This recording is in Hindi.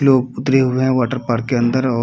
लोग उतरे हुए वाटर पार्क के अंदर और --